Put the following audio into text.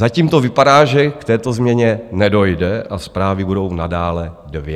Zatím to vypadá, že k této změně nedojde a zprávy budou nadále dvě.